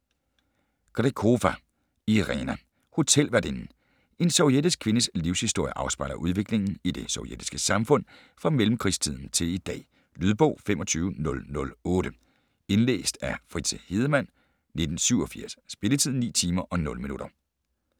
Grekova, Irina: Hotelværtinden En sovjetisk kvindes livshistorie afspejler udviklingen i det sovjetiske samfund fra mellemkrigstiden til i dag. Lydbog 25008 Indlæst af Fritze Hedemann, 1987. Spilletid: 9 timer, 0 minutter.